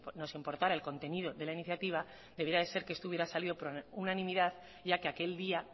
nos importara el contenido de la iniciativa debiera ser que este hubiera salido por unanimidad ya que aquel día